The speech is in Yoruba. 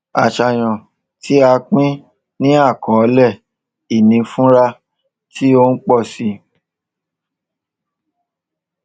àṣàyàn tí a pín ní àkọọlẹ ìní fura tí ó ń pọ si